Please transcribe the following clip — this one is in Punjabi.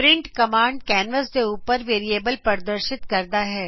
ਪ੍ਰਿੰਟ ਕਮਾਂਡ ਕੈਨਵਸ ਦੇ ਉੱਪਰ ਵੇਰਿਏਬਲ ਪਰਦਰਸ਼ਿਤ ਕਰਦਾ ਹੈ